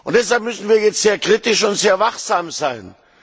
Deshalb müssen wir jetzt sehr kritisch und sehr wachsam sein.